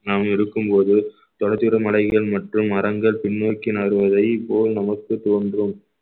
நாம் இருக்கும்போது தொடர்ச்சியுடன் மலைகள் மற்றும் மரங்கள் பின்னோக்கி நாகருவதைபோல் நமக்குத் தோன்றும்